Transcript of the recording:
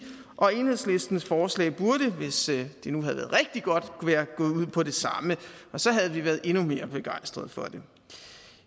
og enhedslistens forslag burde hvis det nu havde været rigtig godt være gået ud på det samme så havde vi været endnu mere begejstret for det